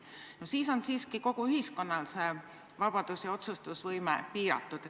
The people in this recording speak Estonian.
No sellisel juhul on siiski kogu ühiskonnal see vabadus ja otsustusvõime piiratud.